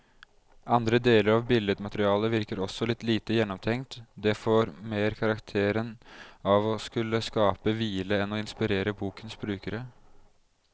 Andre deler av billedmaterialet virker også litt lite gjennomtenkt, det får mer karakteren av å skulle skape hvile enn å inspirere bokens brukere.